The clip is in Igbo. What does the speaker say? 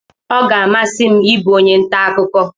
Ọ ga amasi m ịbụ onye ntà akụkọ.